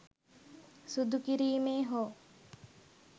සුදු කිරීමේ හෝ